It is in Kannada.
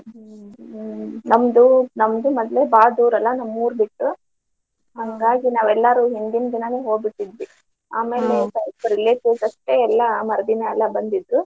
ಹ್ಮ್ ನಮ್ದು ನಮ್ದ್ ಮದ್ವೆ ಬಾಳ ದೂರಲಾ ನಮ್ಮೂರ್ ಬಿಟ್ಟು ಹಾಂಗಾಗಿ ನಾವೆಲ್ಲರು ಹಿಂದಿನ ದಿನಾನೇ ಹೋಗಿದ್ವಿ. ಆಮೇಲೆ relatives ಅಷ್ಟೇ ಮರ್ದಿನಾ ಎಲ್ಲಾ ಬಂದಿದ್ದು.